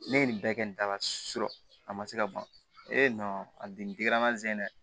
Ne ye nin bɛɛ kɛ nin da la a ma se ka ban a bi digira n na n ze dɛ